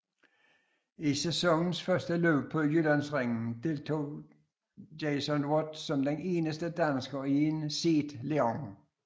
I sæsonens første løb på Jyllandsringen deltog Jason Watt som den eneste dansker i en SEAT León